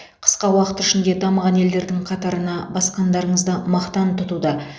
қысқа уақыт ішінде дамыған елдердің қатарына басқандарыңызды мақтан тұтуда